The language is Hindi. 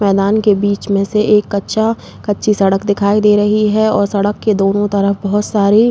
मैदान के बीच में से एक कच्चा- कच्ची सड़क दिखाई दे रही है और सड़क के दोनों तरफ बहोत (बहुत) सारी--